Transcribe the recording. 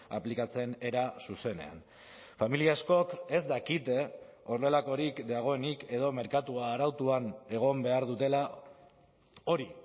aplikatzen era zuzenean familia askok ez dakite horrelakorik dagoenik edo merkatua arautuan egon behar dutela hori